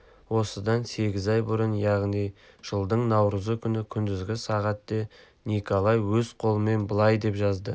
осыдан сегіз ай бұрын яғни жылдың наурызы күні күндізгі сағат де николай өз қолымен былай деп жазды